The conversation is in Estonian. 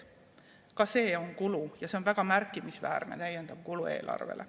Ka see on kulu ja see on väga märkimisväärne täiendav kulu eelarvele.